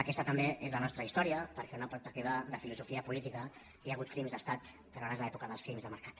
aquesta també és la nostra història perquè en una perspectiva de filosofia política hi ha hagut crims d’estat però ara és l’època dels fins de mercat